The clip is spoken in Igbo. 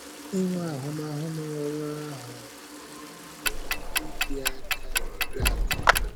Inwe ahụmahụ n’ọ́rụ ahụ na-enyere anyị aka ịdị aka ịdị akọ.